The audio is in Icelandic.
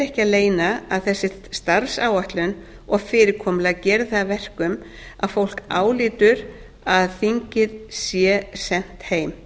ekki að leyna að þessi starfsáætlun og fyrirkomulagið gerir það að verkum að fólk álítur að þingið sé sent heim